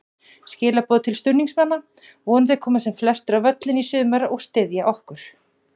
Skilaboð til stuðningsmanna: Vonandi koma sem flestir á völlinn í sumar og styðja okkur.